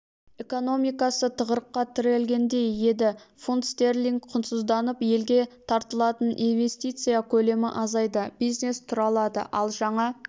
экономикасы тығырыққа тірелгендей еді фунт-стерлинг құнсызданып елге тартылатын инвестиция көлемі азайды бизнес тұралады ал жаңа